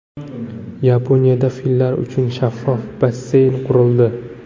Yaponiyada fillar uchun shaffof basseyn qurildi.